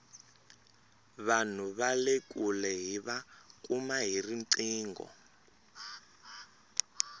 vanhu vale kule hiva kuma hi riqingho